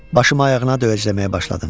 Başımı ayağına döyəcləməyə başladım.